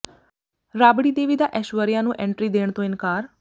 ਰਾਬੜੀ ਦੇਵੀ ਦਾ ਐਸ਼ਵਰਿਆ ਨੂੰ ਐਂਟਰੀ ਦੇਣ ਤੋਂ ਇਨਕਾਰ